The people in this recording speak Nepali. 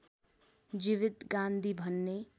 जीवित गान्धी भन्ने